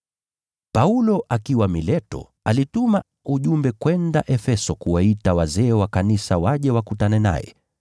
Paulo akiwa Mileto, alituma mjumbe kwenda Efeso kuwaita wazee wa kanisa waje wakutane naye.